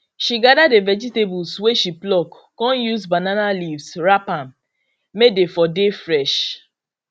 she gather the vegetables wey she pluck con use banana leaves wrap am may dey for dey fresh